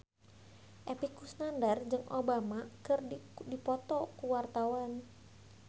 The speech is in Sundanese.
Epy Kusnandar jeung Obama keur dipoto ku wartawan